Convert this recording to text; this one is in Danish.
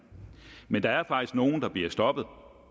men der er faktisk nogle der bliver stoppet